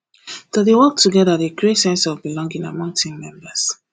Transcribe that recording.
to dey work together dey create sense of belonging among team members